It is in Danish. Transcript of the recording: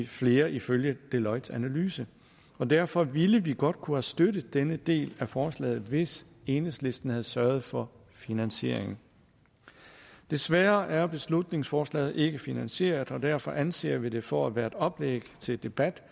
flere ifølge deloittes analyse og derfor ville vi godt kunne have støttet denne del af forslaget hvis enhedslisten havde sørget for finansieringen desværre er beslutningsforslaget ikke finansieret og derfor anser vi det for at være et oplæg til debat